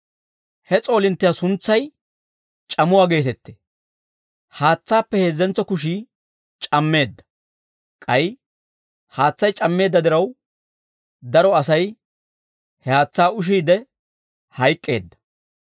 He s'oolinttiyaa suntsay C'amuwaa geetettee. Haatsaappe heezzentso kushii c'ammeedda; k'ay haatsay c'ammeedda diraw, daro Asay he haatsaa ushiidde hayk'k'eedda.